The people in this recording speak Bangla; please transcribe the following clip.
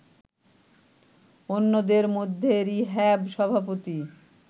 অন্যদের মধ্যে রিহ্যাব সভাপতি